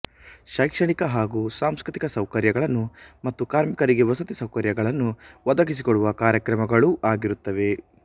ಶೈಕ್ಷಣಿಕ ಹಾಗೂ ಸಾಂಸ್ಕ್ರ್ ತಿಕ ಸೌಕರ್ಯಗಳನ್ನು ಮತ್ತು ಕಾರ್ಮಿಕರಿಗೆ ವಸತಿಸೌಕರ್ಯಗಳನ್ನು ಒದಗಿಸಿಕೊಡುವ ಕಾರ್ಯಕ್ರಮಗಳೂ ಆಗಿರುತ್ತವೆ